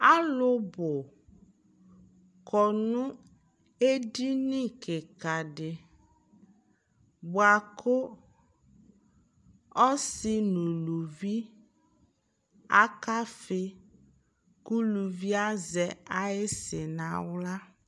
Alʋ bʋ kɔ nʋ edini kɩkadɩ , bʋakʋ ɔsɩ n'uluvi aka fɩ , kʋ uluvie azɛ ayɩsɩ n'aɣla